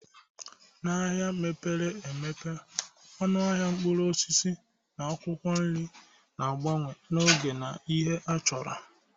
N'ahịa mepere emepe, ọnụ ahịa mkpụrụ osisi na akwụkwọ nri na-agbanwe n'oge na ihe achọrọ